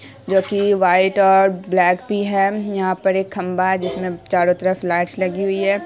जो कि व्हाइट और ब्लैक भी है। यहां पर एक खम्भा है जिसमें चारो तरफ लाइट्स लगी हुई हैं।